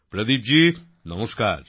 প্রদীপ জি নমস্কার